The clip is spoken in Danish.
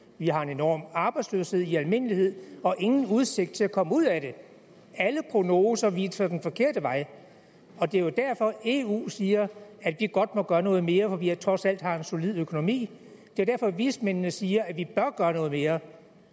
vi har en enorm arbejdsløshed i almindelighed og ingen udsigt til at komme ud af det alle prognoser viser den forkerte vej det er jo derfor at eu siger at vi godt må gøre noget mere fordi vi trods alt har en solid økonomi det er derfor at vismændene siger at vi bør gøre noget mere